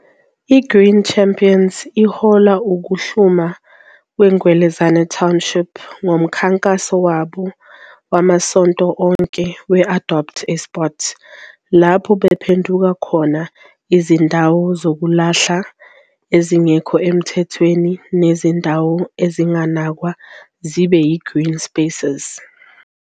I-Green Champions ihola ukuhluma kwe-Ngwelezane Township ngomkhankaso wabo wamasonto onke we- "Adopt A Spot", lapho bephenduka khona izindawo zokulahla ezingekho emthethweni nezindawo ezinganakwa zibe yi-Green Spaces.